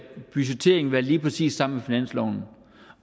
budgetteringen være lige præcis sammen med finansloven